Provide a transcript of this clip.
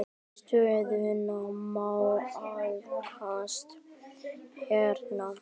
Stöðuna má nálgast hérna.